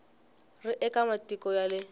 ri eka matiko ya le